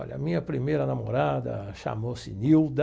Olha, a minha primeira namorada chamou-se Nilda.